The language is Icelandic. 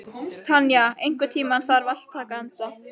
Tanya, einhvern tímann þarf allt að taka enda.